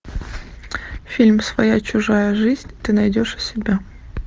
фильм своя чужая жизнь ты найдешь у себя